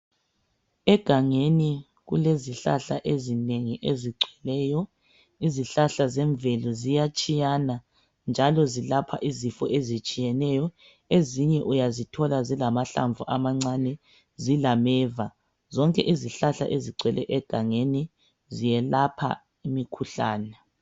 Egangeni kulezihlahla ezinengi ezigcweleyo. Izihlahla zemvelo ziyatshiyana njalo zilapha izifo ezitshiyeneyo. Ezinye uyazithola zilamahlamvu amancane zilameva. Zonke izihlahla ezigcwele egangeni ziyelapha imikhuhlane.